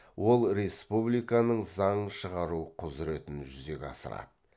ол республиканың заң шығару құзіретін жүзеге асырады